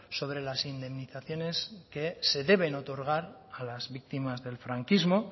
sobre las indemnizaciones que se deben otorgar a las víctimas del franquismo